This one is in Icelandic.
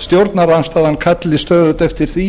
stjórnarandstaðan kalli stöðugt eftir því